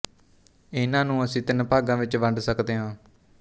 ਇਹਨਾਂ ਨੂੰ ਅਸੀਂ ਤਿੰਨ ਭਾਗ਼ਾਂ ਵਿੱਚ ਵੰਡ ਸਕਦੇ ਹਾਂ